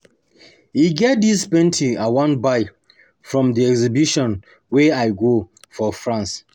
E get dis painting I wan buy from the exhibition wey I go for France